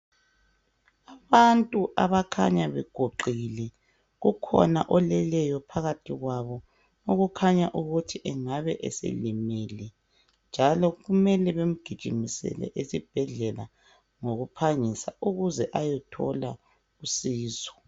Abantu abakhanya beguqile. Kukhona oleleyo phakathi kwabo okukhanya ukuthi engabe selimele njalo kumele bemgijimisele esibhedlela ngokuphangisa ukuze ayethola usizo.